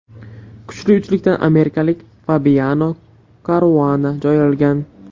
Kuchli uchlikdan amerikalik Fabiano Karuana joy olgan.